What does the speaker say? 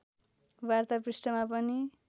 वार्ता पृष्ठमा पनि